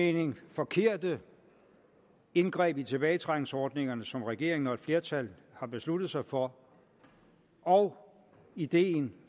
mening forkerte indgreb i tilbagetrækningsordningerne som regeringen og et flertal har besluttet sig for og ideen